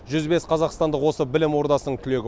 жүз бес қазақстандық осы білім ордасының түлегі